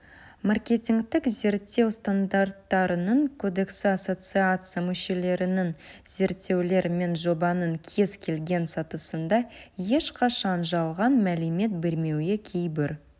маркетингтік зерттеу стандарттарының кодексі ассоциация мүшелерінің зерттеулер мен жобаның кез келген сатысында ешқашан жалған мәлімет бермеуі кейбір